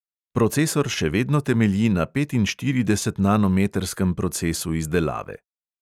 Procesor še vedno temelji na petinštiridesetnanometrskem procesu izdelave.